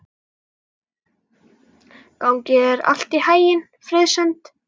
Gangi þér allt í haginn, Friðsemd.